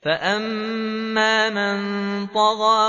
فَأَمَّا مَن طَغَىٰ